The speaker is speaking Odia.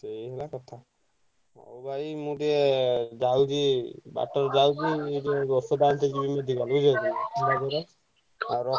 ସେଇ ହେଲା କଥା। ହଉ ଭାଇ ମୁଁ ଟିକେ ଯାଉଛି ବାଟରେ ଯାଉଛି ଯୋଉ ରେ ଯିବି ବୁଝିପାଇଲୁନା ଆଉ ରଖୁଛି।